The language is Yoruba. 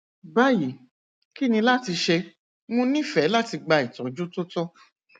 bayi kini lati ṣe mo nifẹ lati gba itọju to tọ